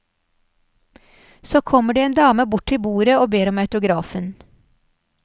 Så kommer det en dame bort til bordet og ber om autografen.